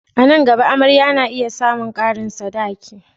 A nan gaba, amarya na iya samun karin sadaki.